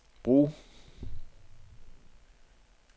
brug